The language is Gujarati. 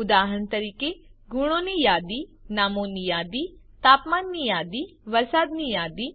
ઉદાહરણ તરીકે ગુણોની યાદી નામો ની યાદી તાપમાનની યાદી વરસાદ ની યાદી